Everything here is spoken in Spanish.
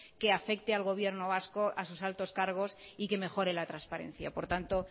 que afecte al gobierno vasco a sus altos cargos y que mejore la transparencia por tanto